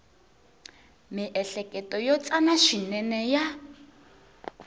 miehleketo yo tsana swinene ya